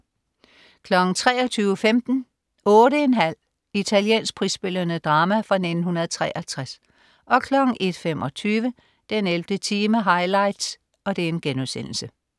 23.15 8½. Italiensk prisbelønnet drama fra 1963 01.25 den 11. time highlights*